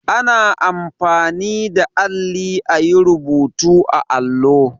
Ana anfani da alli a yi rubutu a allo.